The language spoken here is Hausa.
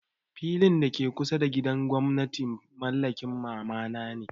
Filin da ke kusa da gidan gwamna mallakin mama na ne.